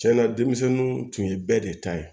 Cɛn na denmisɛnninw tun ye bɛɛ de ta ye